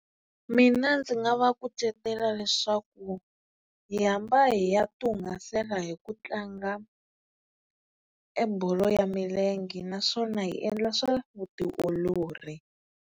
Mina ndzi nga va kucetela leswaku hi hamba hi ya ti hungasela hi ku tlanga e bolo ya milenge naswona hi endla swa vutiolori.